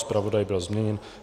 Zpravodaj byl změněn.